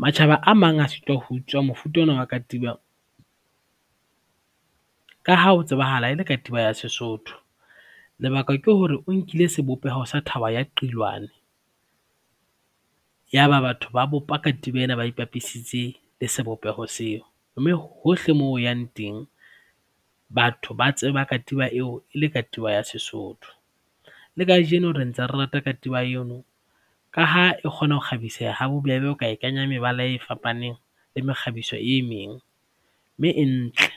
Matjhaba a mang a sitwa ho utswa mofuta ona wa katiba ka ha ho tsebahala e le katiba ya Sesotho. Lebaka ke hore o nkile sebopeho sa thaba ya Qilwane, yaba batho ba bopa katiba ena ba ipapisitse le sebopeho seo mme hohle moo o yang teng batho ba tseba katiba eo e le katiba ya Sesotho. Le kajeno re ntse re rata katiba eno ka ha e kgona ho kgabisa ha bobebe, o ka e kenya mebala e fapaneng le mekgabiso e meng mme e ntle.